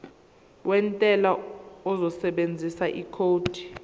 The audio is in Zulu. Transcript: wentela uzosebenzisa ikhodi